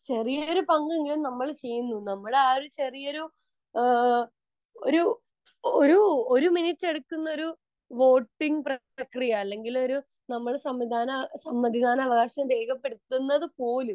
ചെറിയൊരു പങ്ക് എങ്കിലും നമ്മൾ ചെയ്യുന്നു നമ്മളെ ആ ചെറിയൊരു ഒരു ഒരു വോട്ടിംഗ് പ്രക്രിയ അല്ലെങ്കിൽ നമ്മൾ സമ്മതിദാനാവകാശം രേഖപ്പെടുത്തുന്നത് പോലും